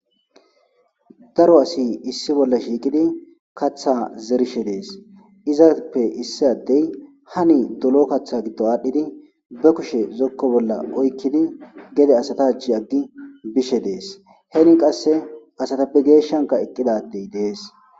Daro asati issi bolla shiiqidi kaththa zerishe dees. Izappe issi addey hani dolo kaththa giddo aadhdhidi be kushe zokko bolla oykkidi gede asata achchi aggi bishe dees. Hen qasse asatappe geeshshankka eqqida addey dees.